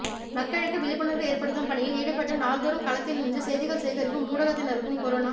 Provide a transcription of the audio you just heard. மக்களுக்கு விழிப்புணர்வு ஏற்படுத்தும் பணியில் ஈடுபட்டு நாள்தோறும் களத்தில் நின்று செய்திகள் சேகரிக்கும் ஊடகத்தினருக்கும் கொரோனா